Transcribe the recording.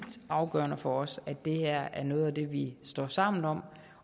afgørende for os at det her er noget vi står sammen om